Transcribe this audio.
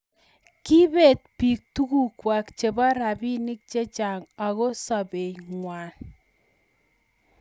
kibeet biik tuguk kwai chebo robinik chechang ago sobengwai